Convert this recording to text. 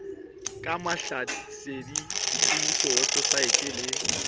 ka mahlasedi detsebiso weposaete le